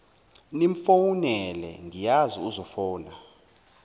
nimfowunele ngiyazi uzofuna